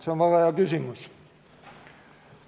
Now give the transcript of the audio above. See on väga hea küsimus.